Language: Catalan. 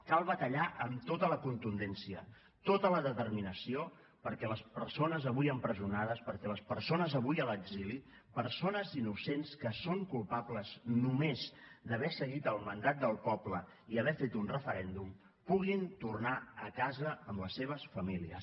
cal batallar amb tota la contundència tota la determinació perquè les persones avui empresonades perquè les persones avui a l’exili persones innocents que són culpables només d’haver seguit el mandat del poble i haver fet un referèndum puguin tornar a casa amb les seves famílies